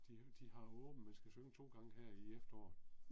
De de har åbent man skal synge 2 gange her i efteråret